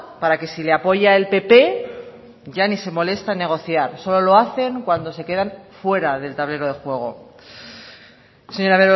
para que si le apoya el pp ya ni se molesta en negociar solo lo hacen cuando se quedan fuera del tablero de juego señora